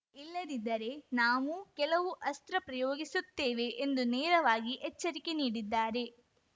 ಇಲ್ಲದಿದ್ದರೆ ನಾವೂ ಕೆಲವು ಅಸ್ತ್ರ ಪ್ರಯೋಗಿಸುತ್ತೇವೆ ಎಂದು ನೇರವಾಗಿ ಎಚ್ಚರಿಕೆ ನೀಡಿದ್ದಾರೆ